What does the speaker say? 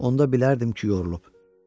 Onda bilərdim ki, yorulub.